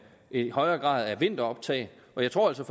en højere grad af vinteroptag og jeg tror altså